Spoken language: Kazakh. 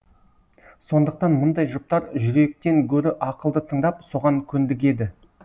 сондықтан мұндай жұптар жүректен гөрі ақылды тыңдап соған көндігеді